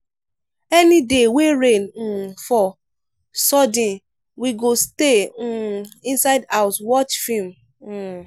any day wey rain um fall sudden we go stay um inside house watch film. um